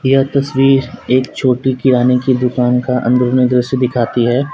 यह तस्वीर एक छोटी किराने की दुकान का अंदर का दृश्य दिखाती है।